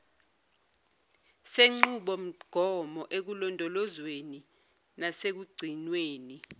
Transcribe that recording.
senqubomgomo ekulondolozweni nasekugcinweni